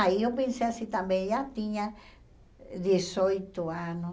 Aí eu pensei assim também, já tinha dezoito anos.